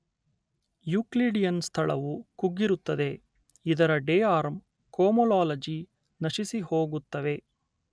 Euclidean ಸ್ಥಳವು ಕುಗ್ಗಿರುತ್ತದೆ ಇದರ ಡೆ ರ್ಯಾಮ್ ಕೋಮೊಲೊಲಾಜಿ ನಶಿಸಿಹೋಗುತ್ತವೆ